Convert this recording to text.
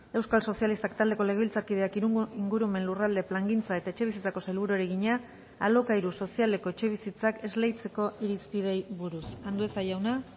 euskal sozialistak taldeko legebiltzarkideak ingurumen lurralde plangintza eta etxebizitzako sailburuari egina alokairu sozialeko etxebizitzak esleitzeko irizpideei buruz andueza jauna